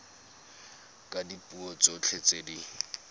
ka dipuo tsotlhe tse di